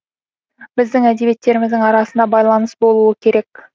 біздің әдебиеттеріміздің арасында байланыс болуы керек